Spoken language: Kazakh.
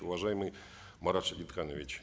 уважаемый марат шадетханович